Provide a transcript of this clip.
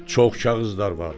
Çox kağızlar vardı.